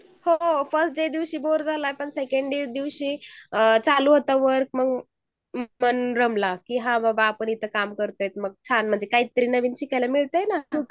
हो first day दिवशी चालू होत वर्क आणि सेकंड डे दिवशी हान म्हणजे आम्ही कामी करतोय इथे मग काहीतरी नवीन शिकायला मिळतंय ना ?